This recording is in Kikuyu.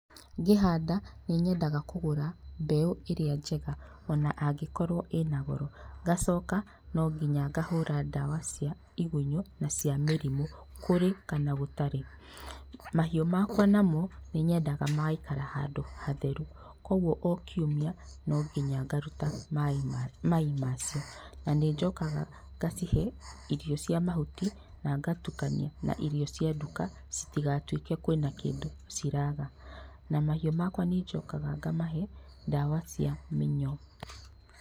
Ngĩhanda nĩ nyendaga kũgũra mbeũ ĩrĩa njega o na angĩkorwo ĩ na goro, ngacoka no nginya kahũra ndawa cia igunyũ na cia mĩrimũ kũrĩ na gũtarĩ. Na mahiũ makwa na mo, nĩnyendaga magaikara handũ hatheru kogwo o kiumia no nginya ngaruta mai macio. Na nĩnjokaga ngacihe irio cia mahuti na ngatukania na irio cia nduka gũtigatuĩke kwĩna kindũ ciraga. Na mahiũ makwa nĩnjokaga ngamahe ndawa cia mĩnyoo.